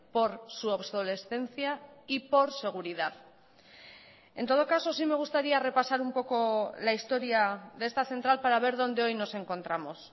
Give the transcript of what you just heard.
por su obsolescencia y por seguridad en todo caso sí me gustaría repasar un poco la historia de esta central para ver donde hoy nos encontramos